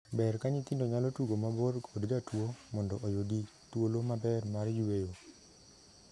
Ber ka nyithindo nyalo tugo mabor kod jatuo mondo oyudi thuolo maber mar yueyo.